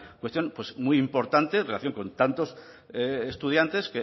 cuestión muy importante en relación con tantos estudiantes